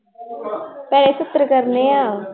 ਭੈਣੇ ਸੱਤਰ ਕਰਨੇ ਆਂ।